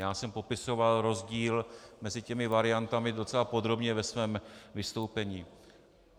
Já jsem popisoval rozdíl mezi těmi variantami docela podrobně ve svém vystoupení.